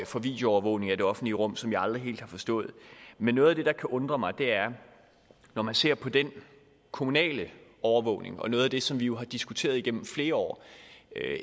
for videoovervågning af det offentlige rum som jeg aldrig helt har forstået men noget af det der kan undre mig er at når man ser på den kommunale overvågning og noget af det som vi jo har diskuteret igennem flere år